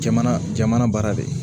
Jamana jamana baara de ye